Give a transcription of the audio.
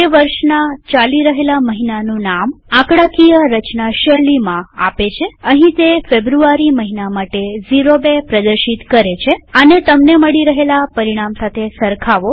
તે વર્ષના ચાલી રહેલા મહિનાનું નામ આંકડાકીય રચના શૈલીમાં આપે છેઅહીં તે ફેબ્રુઆરી મહિના માટે ૦૨ પ્રદર્શિત કરે છેઆને તમને મળી રહેલા પરિણામ સાથે સરખાવો